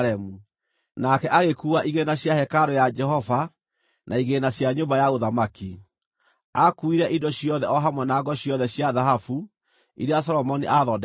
Nake agĩkuua igĩĩna cia hekarũ ya Jehova na igĩĩna cia nyũmba ya ũthamaki. Aakuuire indo ciothe o hamwe na ngo ciothe cia thahabu iria Solomoni aathondekithĩtie.